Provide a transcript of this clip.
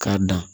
K'a dan